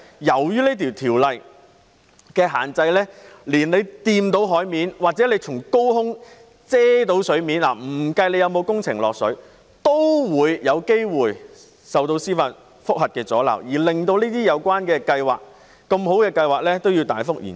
由於受條例限制，只要觸及海面，又或從高空遮蓋到海港，即使工程不影響海港，都有機會遭受司法覆核的阻撓，以致這些好計劃大幅延遲。